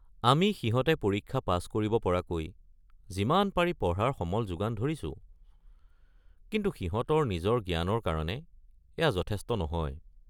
আমি সিহঁতে পৰীক্ষা পাছ কৰিব পৰাকৈ যিমান পাৰি পঢ়াৰ সমল যোগান ধৰিছো, কিন্তু সিহঁতৰ নিজৰ জ্ঞানৰ কাৰণে এয়া যথেষ্ট নহয়।